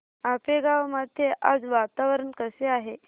आपेगाव मध्ये आज वातावरण कसे आहे